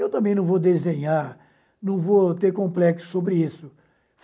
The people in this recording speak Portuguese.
Eu também não vou desdenhar, não vou ter complexo sobre isso.